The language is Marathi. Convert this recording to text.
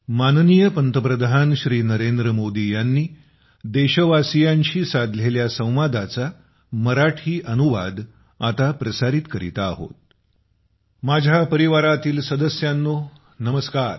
माझ्या प्रिय परिवारातील सदस्यांनो नमस्कार